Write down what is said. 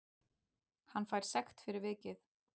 Hann fær sekt fyrir vikið